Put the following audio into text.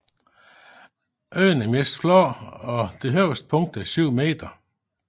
Øen er overvejende flad og det højeste punkt er 7 meter